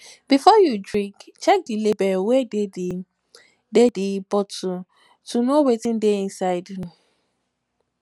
before you drink check di label wey dey di dey di um bottle to know wetin dey inside um